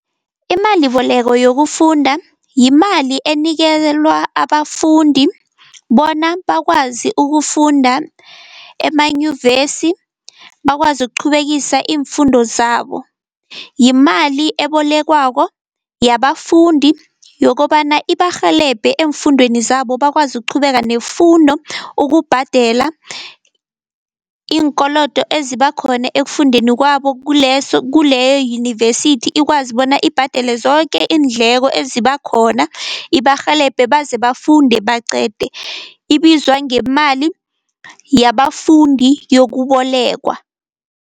Imaliboleko yokufunda yimali enikelwa abafundi bona bakwazi ukufunda emanyuvesi, bakwazi ukuqhubekisa imfundo zabo. Yimali ebolekwako yabafundi yokobana ibarhelebhe eemfundweni zabo, bakwazi ukuqhubeka nefundo ukubhadela iinkolodo eziba khona ekufundeni kwabo kuleso, kuleyo yunivesithi ikwazi bona ibhadele zoke iindleko eziba khona, ibarhelebhe baze bafunde baqede. Ibizwa ngemali yabafundi yokubolekwa.